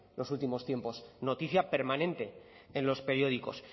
los últimos tiempos noticia permanente en los periódicos